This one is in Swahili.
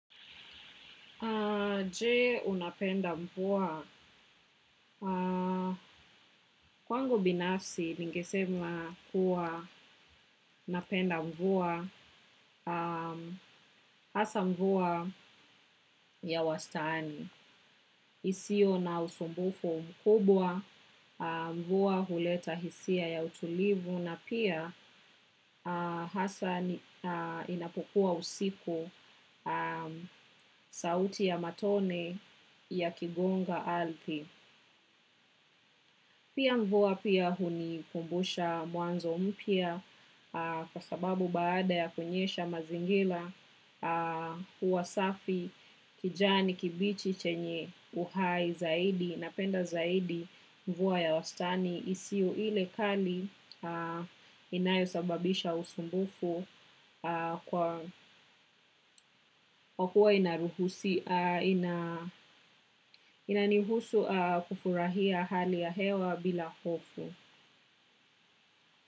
Je, unapenda mvua. Kwangu binafsi, ningesema kuwa napenda mvua, hasa mvua ya wastani. Isiyo na usumbufu mkubwa, mvua huleta hisia ya utulivu, na pia hasa inapokuwa usiku sauti ya matone yakigonga ardhi. Pia mvua pia hunikumbusha mwanzo mpya kwa sababu baada ya kunyesha mazingira huwa safi kijani kibichi chenye uhai zaidi napenda zaidi mvua ya wastani isiyo ile kali inayosababisha usumbufu kwa kuwa inanihusu kufurahia hali ya hewa bila hofu.